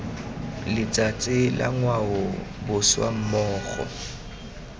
letsatsi la ngwao boswa mmogo